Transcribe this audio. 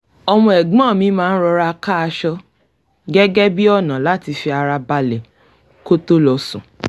ọmọ ẹ̀gbọ́n mi máa ń rọra ká aṣọ gẹ́gẹ́ bí ọ̀nà láti fi ara balẹ̀ kó tó lọ sùn